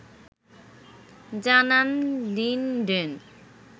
জানান লিনডেন